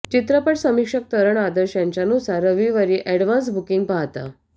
चित्रपट समिक्षक तरण आदर्श यांच्यानुसार रविवारीच्या अॅडव्हान्स बुकिंग पाहता